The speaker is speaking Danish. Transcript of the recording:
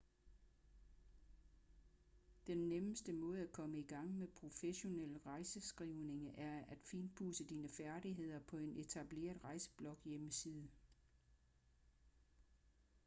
den nemmeste måde at komme i gang med professionel rejseskrivning er at finpudse dine færdigheder på en etableret rejsebloghjemmeside